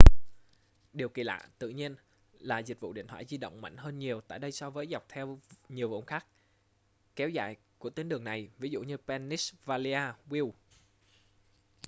điều kỳ lạ tự nhiên là dịch vụ điện thoại di động mạnh hơn nhiều tại đây so với dọc theo nhiều vùng khác kéo dài của tuyến đường này ví dụ pennsylvania wilds